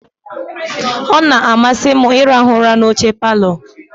Ọ na-amasị m ịrahụ ụra n'oche palọ.